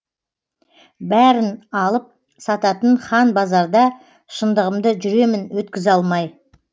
бәрін алып сататын хан базарда шындығымды жүремін өткізе алмай